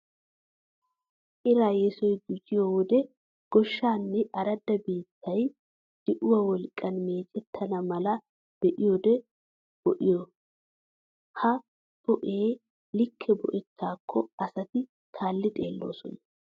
Iraa yesoy gujjiyo wode goshsha nne aradda biittay di'uwa wolqqan meecettenna mala boo'ido boo'iya. Ha boo'ee likke boo'ettaakko asati kaalli xeelloosona.